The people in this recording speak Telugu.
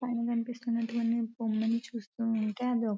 పైన కనిపిస్తున్న బొమ్మని చూస్తూ ఉంటే అది --